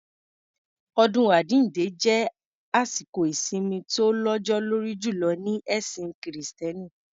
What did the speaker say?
Ọdún àjínde jẹ́ àsìkò ìsimi tó lọ́jọ́ lórí jùlọ ní ẹ̀sìn kìrìtẹ́nì.